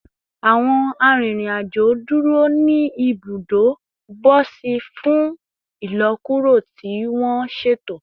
Awọn arinrin-ajo duro ni ibudo bosi fun ilọkuro ti wọn ṣeto